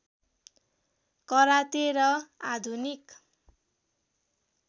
karate र आधुनिक